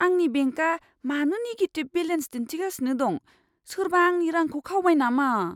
आंनि बेंकआ मानो निगेटिभ बेलेन्स दिन्थिगासिनो दं? सोरबा आंनि रांखौ खावबाय नामा?